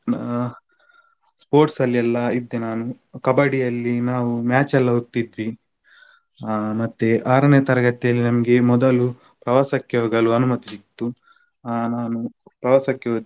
ಆ sports ಅಲ್ಲೆಲ್ಲ ಇದ್ದೆ ನಾನು Kabaddi ಯಲ್ಲಿ ನಾವು match ಎಲ್ಲ ಹೋಗ್ತಿದ್ವಿ ಆ ಮತ್ತೆ ಆರನೇ ತರಗತಿಯಲ್ಲಿ ನಮಗೆ ಮೊದಲು ಪ್ರವಾಸಕ್ಕೆ ಹೋಗಲು ಅನುಮತಿ ಸಿಗ್ತು ಆ ನಾವು ಪ್ರವಾಸಕ್ಕೆ ಹೋದ್ವಿ,